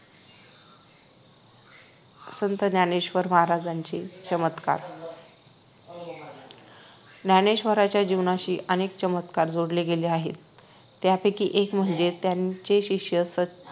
संत ज्ञानेश्वर महाराजांचे चमत्कार ज्ञानेश्वराच्या जीवनाशी अनेक चमत्कार जोडले गेले आहेत त्यापैकी एक म्हणजे त्यांचे शिष्य